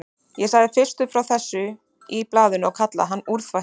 Ég sagði fyrstur frá þessu í blaðinu og kallaði hann úrþvætti.